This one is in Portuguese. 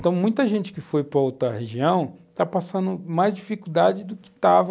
Então, muita gente que foi para outra região está passando mais dificuldade do que estava